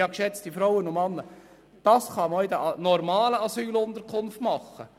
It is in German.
Ja, geschätzte Frauen und Männer, das kann man auch in den normalen Asylunterkünften machen.